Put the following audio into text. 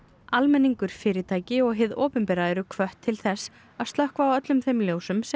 almenningur fyrirtæki og hið opinbera eru hvött til þess að slökkva á öllum þeim ljósum sem